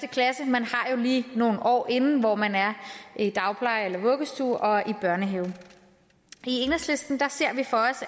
klasse man har jo lige nogle år inden hvor man er i dagpleje eller vuggestue og i børnehave i enhedslisten ser vi for